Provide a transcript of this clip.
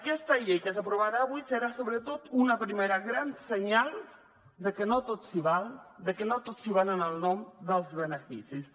aquesta llei que s’aprovarà avui serà sobretot un primer gran senyal de que no tot s’hi val de que no tot s’hi val en nom dels beneficis